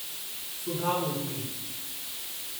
सुधा मूर्ति